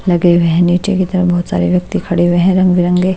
लगे हुए हैं नीचे की तरफ बहुत सारे व्यक्ति खड़े हुए हैं रंग-बिरंगे--